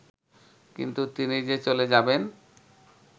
কিন্তু তিনি যে চলে যাবেন